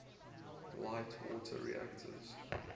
light water reactors